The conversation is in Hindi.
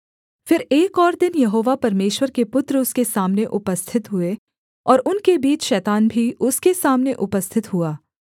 फिर एक और दिन यहोवा परमेश्वर के पुत्र उसके सामने उपस्थित हुए और उनके बीच शैतान भी उसके सामने उपस्थित हुआ